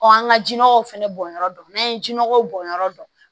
an ka jiɔgɔw fɛnɛ bɔnyɔrɔ dɔn n'an ye ji nɔgɔ bɔn yɔrɔ dɔn